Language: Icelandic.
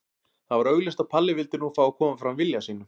Það var augljóst að Palli vildi nú fá að koma fram vilja sínum.